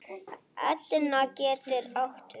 Etna getur átt við